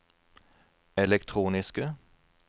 elektroniske